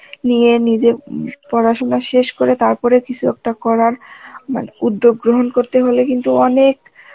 নিয়ে নিজের উম পড়াশোনা শেষ করে তারপরে কিসু একটা করার মানে উদ্যোগ গ্রহণ করতে হলে কিন্তু অনেক